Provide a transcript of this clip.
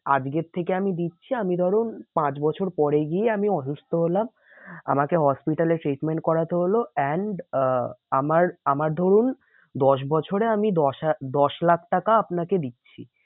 আজকে থেকে আমি দিচ্ছি আমি ধরুন পাঁচ বছর পরে গিয়ে আমি অসুস্থ হলাম। আমাকে hospital এ treatment করাতে হলো and আহ আমার, আমার ধরুন দশ বছরে আমি দশ দশ লাখ টাকা আপনাকে দিচ্ছি।